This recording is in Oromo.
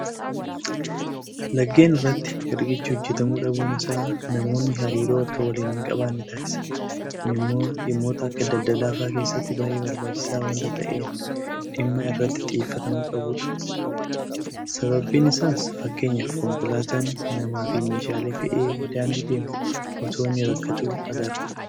Laggeen irratti Riqichi hojjetamuu dhabuun isaa namoonni hariiroo akka waliin hinqabaanne taasisa. Kun immoo dhimmoota akka daldalaa fa'aa keessatti baay'ee barbaachisaa waanta ta'een dhimma irratti xiyyeeffatamuu qabudha. Sababiin isaas fakkeenyaaf konkolaataan namaafi meeshaalee fe'ee daandii deemu itoo inni rakkatuu agarra.